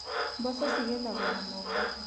Mboco cigethagwo na moko.